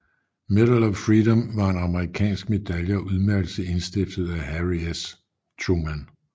Medal of Freedom var en amerikansk medalje og udmærkelse indstiftet af Harry S